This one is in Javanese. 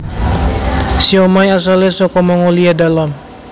Siomai asalé saka Mongolia dalam